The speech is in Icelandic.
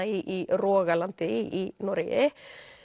í rogalandi í Noregi